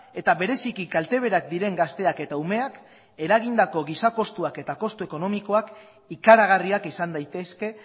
eta bereziki kalte berak diren gazteak eta umeak eragindako giza kostuak eta kostu ekonomikoak ikaragarriak izan daitezke